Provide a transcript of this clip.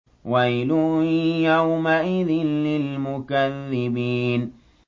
وَيْلٌ يَوْمَئِذٍ لِّلْمُكَذِّبِينَ